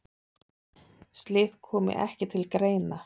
Slíkt komi ekki til greina.